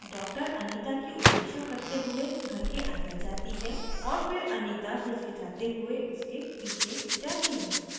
doctor anita की उपेक्षा करते हुए घर के अंदर जाती है और फिर anita हिचकिचाते हुए उसके पीछे जाती है